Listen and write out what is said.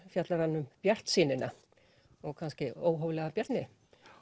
fjallar hann um bjartsýnina og kannski óhóflega bjartsýni